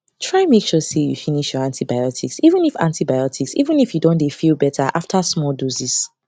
try dey make sure say you finish your antibiotics even if antibiotics even if you don dey feel better after small doses